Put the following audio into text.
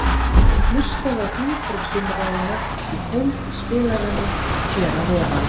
Hlustaðu á hringborðsumræðuna í heild í spilaranum hér að ofan.